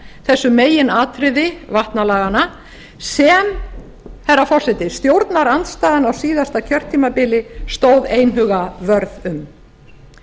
þessu meginatriði vatnalaganna sem herra forseti stjórnarandstaðan á síðasta kjörtímabili stóð einhuga vörð um